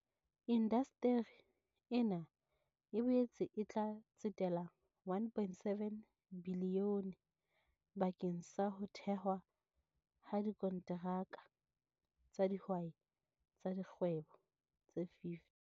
Indasteri ena e boetse e tla tsetela R1.7 bilione bakeng sa ho thehwa ha dikonteraka tsa dihwai tsa kgwebo tse 50.